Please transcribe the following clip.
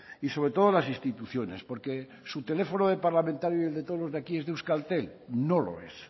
y sobre todo las instituciones porque su teléfono de parlamentario y el de todos los de aquí es de euskaltel no lo es